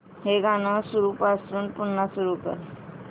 हे गाणं सुरूपासून पुन्हा सुरू कर